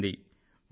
ప్రకటించింది